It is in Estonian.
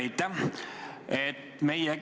Aitäh!